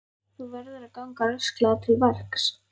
Þú verður að ganga rösklega til verks.